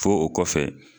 Fo o kɔfɛ